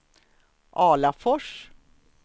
Alafors